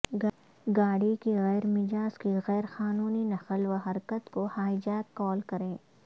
گاڑی کی غیر مجاز کی غیر قانونی نقل و حرکت کو ہائی جیک کال کریں